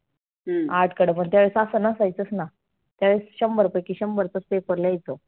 आठ कडमड त्यावेळेस आसं नसायचच ना. त्यावेळेस शंभर पैकी शंभरचाच paper लिहायचो.